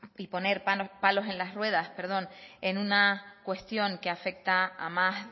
y poner palos en las ruedas en una cuestión que afecta a más